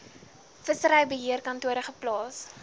vissery beheerkantore geplaas